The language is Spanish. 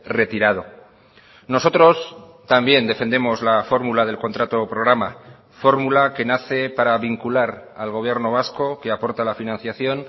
retirado nosotros también defendemos la fórmula del contrato programa fórmula que nace para vincular al gobierno vasco que aporta la financiación